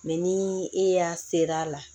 Mɛ ni e y'a ser'a la